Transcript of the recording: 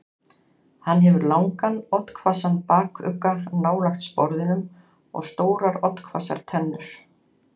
Hann hefur langan, oddhvassan bakugga nálægt sporðinum og stórar oddhvassar tennur.